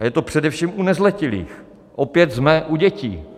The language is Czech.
A je to především u nezletilých - opět jsme u dětí.